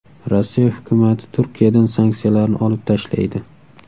Rossiya hukumati Turkiyadan sanksiyalarni olib tashlaydi.